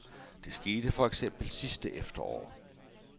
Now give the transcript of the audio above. Det skete for eksempel sidste efterår.